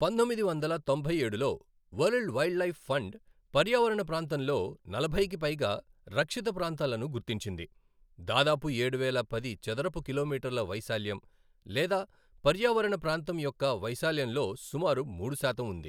పంతొమ్మిది వందల తొంభై ఏడులో వరల్డ్ వైల్డ్లైఫ్ ఫండ్ పర్యావరణ ప్రాంతంలో నలభైకి పైగా రక్షిత ప్రాంతాలను గుర్తించింది, దాదాపు ఏడువేల పది చదరపు కిలోమీటర్ల వైశాల్యం, లేదా పర్యావరణ ప్రాంతం యొక్క వైశాల్యంలో సుమారు మూడు శాతం ఉంది.